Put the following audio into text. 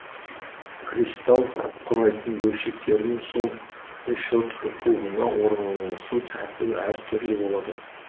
кристалл құрайтын бөлшектердің сол решетка кубына орналасу тәртібі әр түрлі болады